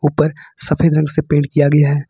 ऊपर सफेद रंग से पेंट किया गया है।